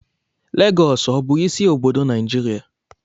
Lagọọsù ọ bụ isi obodo Naijiria?